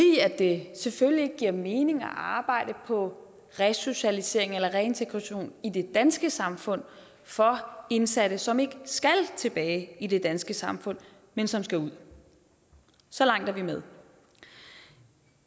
det selvfølgelig ikke giver mening at arbejde på resocialisering eller reintegration i det danske samfund for indsatte som ikke skal tilbage i det danske samfund men som skal ud så langt er vi med